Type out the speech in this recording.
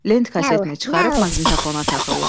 Lent kasetini çıxarıb maqnitafona taxırlar.